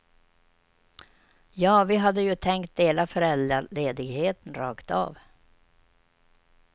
Ja, vi hade ju tänkt dela föräldraledigheten rakt av.